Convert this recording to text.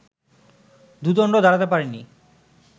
দুদণ্ড দাঁড়াতে পারিনি